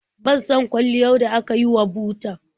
Ban son kwalliyar da aka yi wa butar.